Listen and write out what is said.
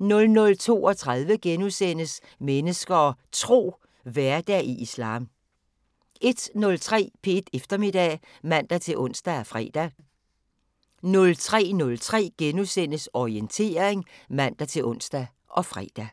* 00:32: Mennesker og Tro: Hverdag i islam * 01:03: P1 Eftermiddag *(man-ons og fre) 03:03: Orientering *(man-ons og fre)